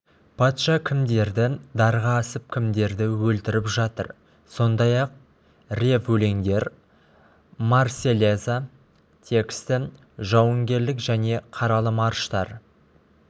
патша кімдерді дарға асып кімдерді өлтіріп жатыр сондай-ақ рев өлеңдер марсельеза тексті жауынгерлік және қаралы марштар